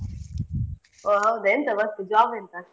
ಹೋ ಹೌದಾ ಎಂತ work job ಎಂತ?